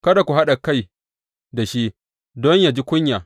Kada ku haɗa kai da shi, don yă ji kunya.